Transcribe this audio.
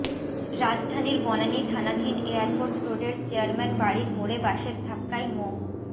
রাজধানীর বনানী থানাধীন এয়ারপোর্ট রোডের চেয়ারম্যান বাড়ির মোড়ে বাসের ধাক্কায় মো